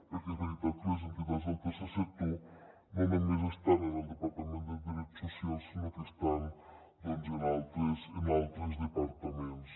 perquè és veritat que les entitats del tercer sector no només estan en el departament de drets socials sinó que estan doncs en altres departaments